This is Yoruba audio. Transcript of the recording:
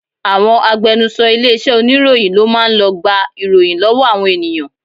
Àwọn agbẹnuṣọ ilé iṣẹ́ oníròyìn ló máa ń lọ gba ìròyìn lọ́wọ́ àwọn ènìyàn